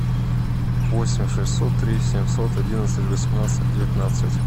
восемь шестьсот три семьсот одиннадцать восемнадцать девятнадцать